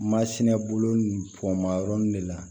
Masinɛ bolo bɔn ma yɔrɔ de la